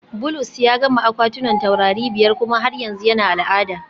Bulus ya gama akwatunan taurari biyar kuma har yanzu yana al'ada